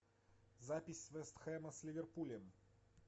запись вест хэма с ливерпулем